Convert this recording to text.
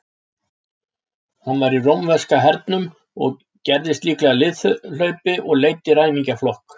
Hann var í rómverska hernum, gerðist líklega liðhlaupi og leiddi ræningjaflokk.